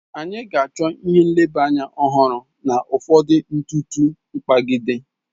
Anyị ga-achọ ihe nleba anya ọhụrụ na ụfọdụ ntụtụ mkpagide.